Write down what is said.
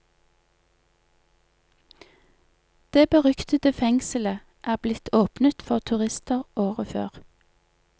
Det beryktede fengselet er blitt åpnet for turister året før.